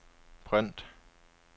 print